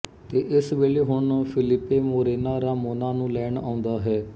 ਇਸ ਵੇਲੇ ਹੁਣ ਫਿਲਿੱਪੇ ਮੋਰੇਨਾ ਰਾਮੋਨਾ ਨੂੰ ਲੈਣ ਆਉਂਦਾ ਹੈ